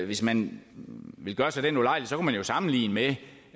hvis man vil gøre sig den ulejlighed sammenligne det